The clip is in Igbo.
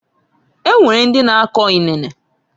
Onwere ndi na-ako inene.